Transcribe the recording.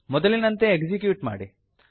ಮೊದಲಿನಂತೆ ಎಕ್ಸಿಕ್ಯೂಟ್ ಮಾಡಿ